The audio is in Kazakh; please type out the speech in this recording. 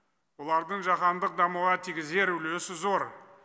олардың жаһандық дамуға тигізер үлесі зор